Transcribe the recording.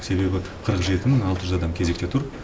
себебі қырық жеті мың алты жүз адам кезекте тұр